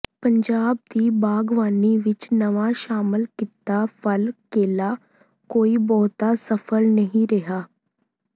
ਪੰਜਾਬ ਦੀ ਬਾਗਬਾਨੀ ਵਿੱਚ ਨਵਾਂ ਸ਼ਾਮਲ ਕੀਤਾ ਫਲ ਕੇਲਾ ਕੋਈ ਬਹੁਤਾ ਸਫ਼ਲ ਨਹੀਂ ਰਿਹਾ